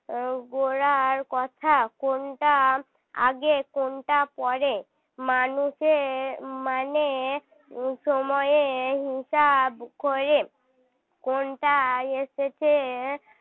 গোড়ার কথা কোনটা আগে কোনটা পরে মানুষের মানে উম সময়ে হিসাব করে কোনটা এসেছে